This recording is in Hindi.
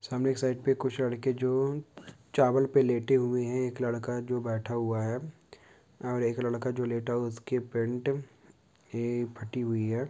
सामने के साइट पे कुछ लड़के जो चावल पर लेटे हुए हैं एक लड़का जो बैठा हुआ है अ एक लड़का जो लेटा उसकी पेंट ऐ फटी हुई है।